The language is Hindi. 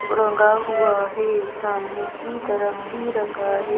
रंगा हुआ है सामने की तरफ भी रंगा है।